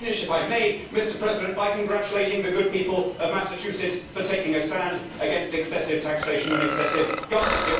I shall finish, if I may, by congratulating the good people of Massachusetts for taking a stand against excessive taxation and excessive government.